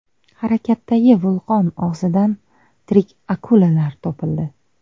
Harakatdagi vulqon og‘zidan tirik akulalar topildi .